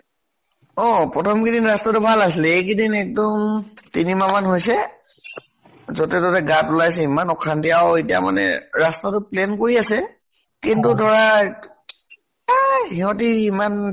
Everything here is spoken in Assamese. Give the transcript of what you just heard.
অ । প্ৰথম কেইদিন ৰাস্তাতো ভাল আছিল, এইকেইদিন একদম তিনি মাহ মান হৈছে, যʼতে তʼতে গাত ওলাইছে । ইমান অশান্তি আৰু এতিয়া মানে ৰাস্তাতো plain কৰি আছে। কিন্তু ধৰা এহ সিহঁতে ইমান